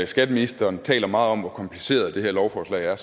skatteministeren taler meget om hvor kompliceret det her lovforslag er er